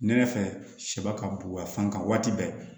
Ne ne fɛ sɛb ka bonya fankan waati bɛɛ